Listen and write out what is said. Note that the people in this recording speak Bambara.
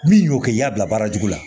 Min y'o kɛ i y'a bila baara jugu la